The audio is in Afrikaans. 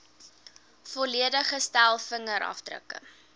volledige stel vingerafdrukke